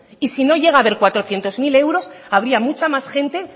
y si no llega haber cuatrocientos mil euros habría mucha más gente